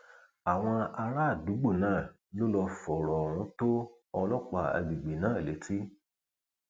àwọn àràádúgbò náà ló lọọ fọrọ ohun tó ọlọpàá àgbègbè náà létí